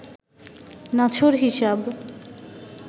নাছোড় হিসাব